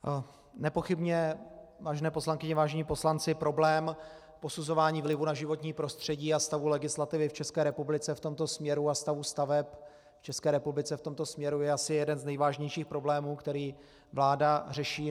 Nepochybně, vážené poslankyně, vážení poslanci, problém posuzování vlivu na životní prostředí a stavu legislativy v České republice v tomto směru a stavu staveb v České republice v tomto směru je asi jeden z nejvážnějších problémů, který vláda řeší.